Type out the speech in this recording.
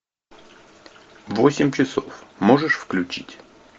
восемь часов можешь включить